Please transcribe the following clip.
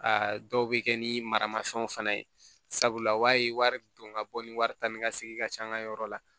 Aa dɔw bɛ kɛ ni maramafɛnw fana ye sabula o b'a ye wari don ka bɔ ni wari taa ni ka segin ka ca an ka yɔrɔ la